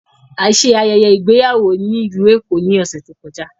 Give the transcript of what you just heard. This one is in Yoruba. A ṣe ayẹyẹ igbeyawo ni Ilu Eko ni ọsẹ to kọja